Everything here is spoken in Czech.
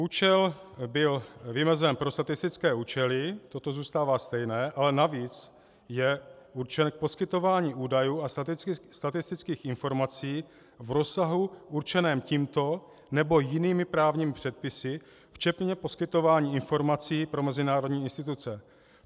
Účel byl vymezen pro statistické účely, toto zůstává stejné, ale navíc je určen k poskytování údajů a statistických informací v rozsahu určeném tímto nebo jinými právními předpisy včetně poskytování informací pro mezinárodní instituce.